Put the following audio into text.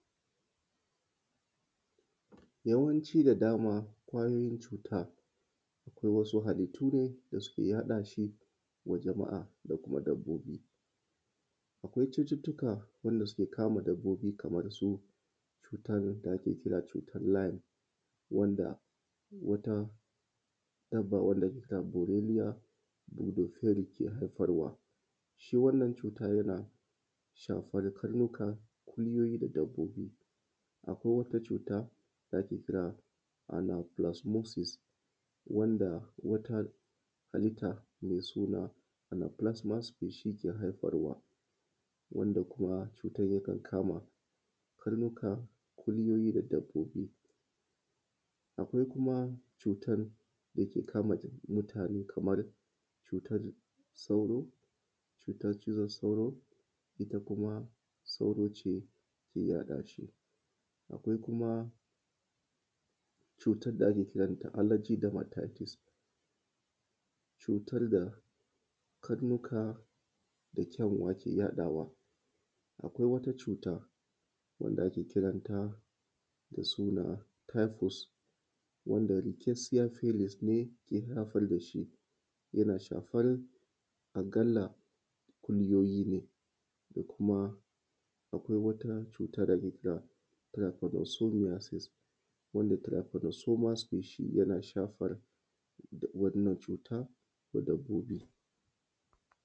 Yawanci da dama kwayoyin cuta akwai wasu halittu ne da suke yaɗashi wa jama’a da kuma dabbobi. Akwai cututtuka wanda suke kama dabbobi kamar su cutar lali wanda wata dabba wanda ake kira goneriya shi yake haifar wa, cutan tana shafan karnuka da kuma ire iren dabbobi. Akwai kuma wani cuta da ake kira fulasmosis wanda wata halitta mai suna alafulasmosis take haifar wa wanda kuma cutar yakan kama karnuka kulyoyi da dabbobi. Akwai kuma cutan dake kama ɗai ɗai kun mutane kaman cizon sauro cutar cizon sauro wanda kuma sauro yake yaɗashi. Akwai kuma cutar da ake ce mata alajidamatitis ita kuma cutar da karnuka da kyanwa ke yaɗawa. Akwai wata cuta wanda ake kiranta da suna hifus wanda inkesiyafisis ne ke haifar dashi yana shafar a kalla akuyoyi ne. akwai kuma wata cuta da akece mata tirifanasomiyasis wanda tirifanasoma sufashi yana shafar da wannan cuta ga dabbobi da kyanwa ke yaɗawa. Akwai wata cuta wanda ake kiranta da suna hifus wanda inkesiyafisis ne ke haifar dashi yana shafar a kalla akuyoyi ne akwai kuma wata cuta da akece mata tirifanasomiyasis wanda tirifanasoma sufashi yana shafar da wannan cuta ga dabbobi.